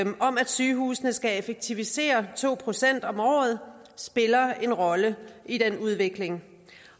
sygehusene skal effektivisere to procent om året spiller en rolle i den udvikling